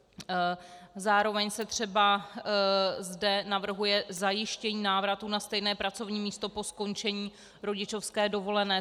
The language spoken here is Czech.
Zároveň se třeba zde navrhuje zajištění návratu na stejné pracovní místo po skončení rodičovské dovolené.